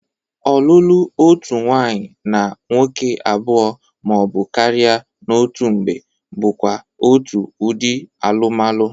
Ọlụlụ otu nwaanyị na nwoke abụọ ma ọ bụ karị n'otu mgbe bụkwa otu ụdị alụmalụ.